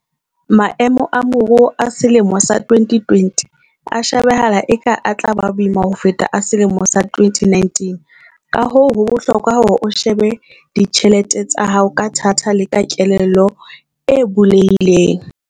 Maemo a moruo a selemo sa 2020 a shebahala eka a tla ba boima ho feta a selemo sa 2019, kahoo ho bohlokwa hore o shebe ditjhelete tsa hao ka thata le ka kelello e bulehileng.